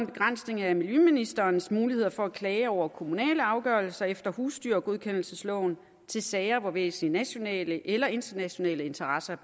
begrænsning af miljøministerens muligheder for at klage over kommunale afgørelser efter husdyrgodkendelsesloven til sager hvor væsentlige nationale eller internationale interesser